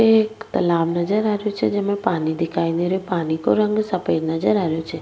एक तालाब नजर आ रेहो छे जेमे पानी दिखाई दे रेहो पानी को रंग सफ़ेद नजर आ रहे छे।